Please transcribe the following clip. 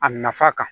A nafa kan